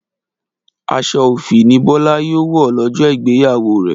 Aṣọ òfì ni Bọlá yóò wọ̀ lọ́jọ́ ìgbéyàwó rẹ̀